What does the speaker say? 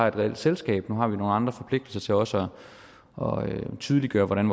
et reelt selskab nu har vi nogle andre forpligtelser til også at tydeliggøre hvordan